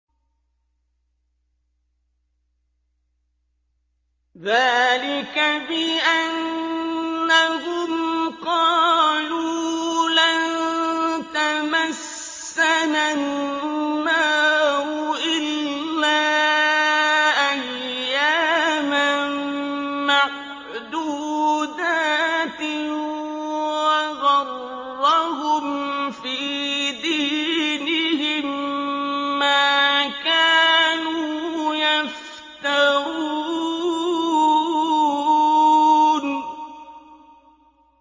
ذَٰلِكَ بِأَنَّهُمْ قَالُوا لَن تَمَسَّنَا النَّارُ إِلَّا أَيَّامًا مَّعْدُودَاتٍ ۖ وَغَرَّهُمْ فِي دِينِهِم مَّا كَانُوا يَفْتَرُونَ